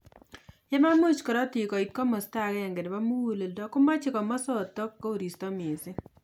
Yememuchi korotik koit komasta agenge nebo muguleldo komache komasatak koristo mising